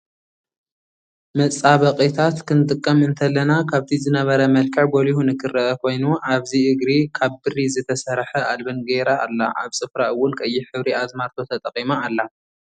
መፃበቂታት ክንጥቀም እተለና ካብቲ ዝነበረ መልክዕ ጎሊሁ ንክረኣ ኮይኑ ኣብዚ እግሪ ካብ ብሪ ዝተሰርሐ ኣልበን ገይራ ኣላ ኣብ ፅፍራ እው ቀይሕ ሕብሪ ኣዝማርቶ ተጠቂማ ኣላ።